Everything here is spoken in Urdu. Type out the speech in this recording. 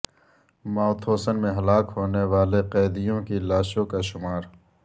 ماوتھوسن میں ہلاک ہونے والے قیدیوں کی لاشوں کا شمار